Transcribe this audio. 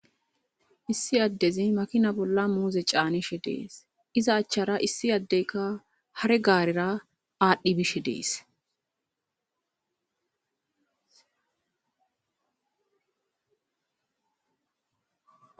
issi addezi makina bolla muuze caanishe dees iza achchara issi addeyka hare gaarera aadhdhi bishe dees